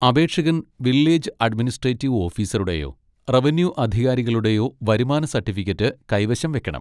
അപേക്ഷകൻ village administrative ഓഫീസറുടെയോ revenue അധികാരികളുടെയോ വരുമാന സർട്ടിഫിക്കറ്റ് കൈവശം വയ്ക്കണം.